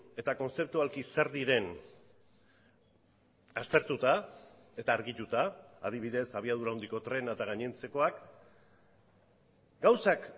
eta kontzeptualki zer diren aztertuta eta argituta adibidez abiadura handiko trena eta gainontzekoak gauzak